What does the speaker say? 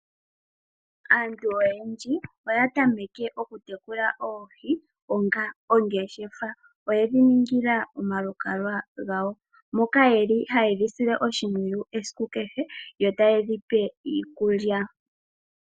Aantu oyendji oya tameke oku tekula oohi onga ongeshefa. Oyedhi ningila omalukalwa gadho moka yeli haye dhi sile oshimpwiyu esiku kehe yo taye dhi pe iikulya.